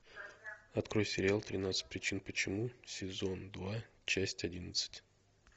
открой сериал тринадцать причин почему сезон два часть одиннадцать